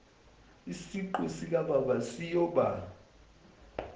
isiqu sikababa siyoba